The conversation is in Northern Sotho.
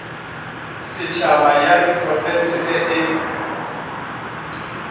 setšhaba ya diprofense ge e